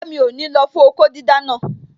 Rárá, mi ò ní lọ fún okó dídá naa